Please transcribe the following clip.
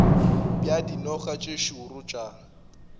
bja dinoga tše šoro tša